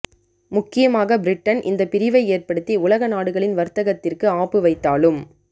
முக்கியமாக பிரிட்டன் இந்த பிரிவை ஏற்படுத்தி உலக நாடுகளின் வர்த்தகத்திர்க்கு ஆப்பு வைத்தாலும்